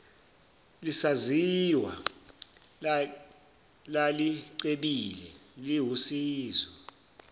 lisazizwa lalicebile liwusizo